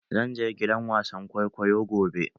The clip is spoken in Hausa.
Zan je gidan wasan kwaikwayo gobe